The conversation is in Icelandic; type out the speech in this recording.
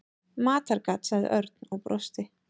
Matargat sagði Örn og brosti.